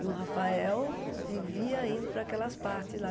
E o Rafael vivia indo para aquelas partes lá.